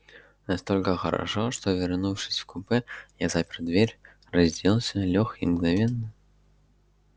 настолько хорошо что вернувшись в купе я запер дверь разделся лёг и мгновенно